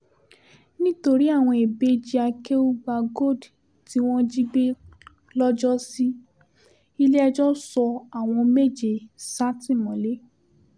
nítorí àwọn ìbejì akéúgbàgold tí wọ́n jí gbé lọ́jọ́sí ilé-ẹjọ́ sọ àwọn méje sátìmọ́lé